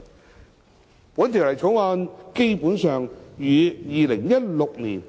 《2017年僱傭條例草案》基本上與《2016年